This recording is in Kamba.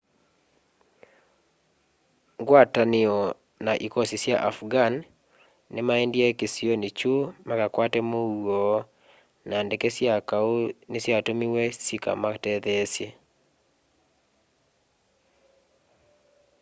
ngwatanio na ĩkosĩ sya afghan nĩmaendĩe kĩsĩonĩ kyũ makakwate mũũo na ndeke sya kaũ nĩsyatũmĩ syĩka matetheesye